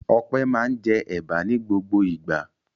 Ọpẹ́ máa ń jẹ ẹ̀bà ní gbogbo ìgbà.